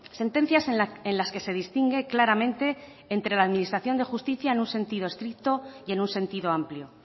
sentencias en las que se distingue claramente entre la administración de justicia en un sentido estricto y en un sentido amplio